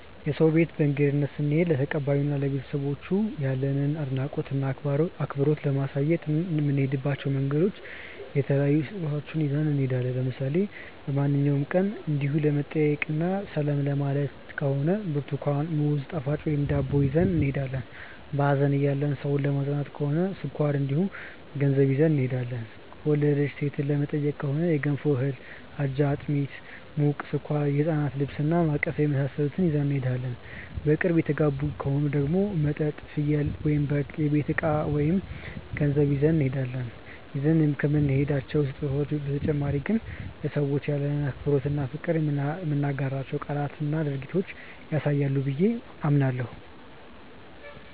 የሰው ቤት በእንግድነት ስንሄድ ለተቀባዩ እና ለቤተሰቦቻቸው ያለንን አድናቆት እና አክብሮት ለማሳየት እንደምንሄድበት ምክንያት የተለያዩ ስጦታዎችን ይዘን እንሄዳለን። ለምሳሌ በማንኛውም ቀን እንዲው ለመጠያየቅ እና ሰላም ለማየት ከሆነ ብርትኳን፣ ሙዝ፣ ጣፋጮች ወይም ዳቦ ይዘን እንሄዳለን። በሀዘን ያለን ሰው ለማፅናናት ከሆነ ስኳር እንዲሁም ገንዘብ ይዘን እንሄዳለን። የወለደች ሴትን ለመጠየቅ ከሆነ የገንፎ እህል፣ አጃ፣ አጥሚት (ሙቅ)፣ስኳር፣ የህፃን ልብስ እና ማቀፊያ የመሳሰሉትን ይዘን እንሄዳለን። በቅርብ የተጋቡ ከሆኑ ደግሞ መጠጥ፣ ፍየል/በግ፣ የቤት እቃ ወይም ገንዘብ ይዘን እንሄዳለን። ይዘን ከምንሄዳቸው ስጦታዎች በተጨማሪ ግን ለሰዎቹ ያለንን አክብሮት እና ፍቅር የምንናገራቸው ቃላትና ድርጊታችንም ያሳያሉ ብዬ አስባለሁ።